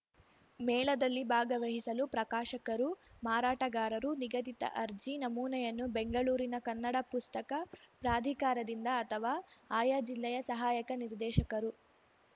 ಮೇಳದಲ್ಲಿ ಭಾಗವಹಿಸಲು ಪ್ರಕಾಶಕರು ಮಾರಾಟಗಾರರು ನಿಗದಿತ ಅರ್ಜಿ ನಮೂನೆಯನ್ನು ಬೆಂಗಳೂರಿನ ಕನ್ನಡ ಪುಸ್ತಕ ಪ್ರಾಧಿಕಾರದಿಂದ ಅಥವಾ ಆಯಾ ಜಿಲ್ಲೆಯ ಸಹಾಯಕ ನಿರ್ದೇಶಕರು